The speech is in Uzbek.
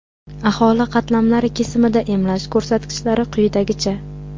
aholi qatlamlari kesimida emlash ko‘rsatkichlari quyidagicha:.